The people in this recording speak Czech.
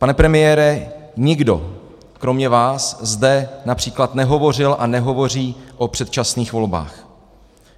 Pane premiére, nikdo kromě vás zde například nehovořil a nehovoří o předčasných volbách.